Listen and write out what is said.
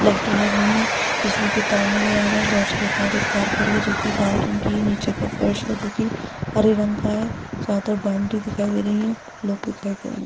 लाइटें लगी हैं। बिजली के तार नजर आ रहें हैं। लॉज के बाहर एक कार खड़ी है जो की लाल रंग की है। निचे का फर्श है जो की हरे रंग का है। चारो तरफ बाउंड्री दिखाई दे रही है लोग दिखाई दे रहें हैं।